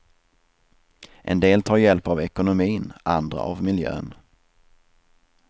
En del tar hjälp av ekonomin, andra av miljön.